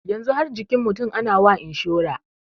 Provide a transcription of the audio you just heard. Yanzu har jikin mutum ana wa inshura.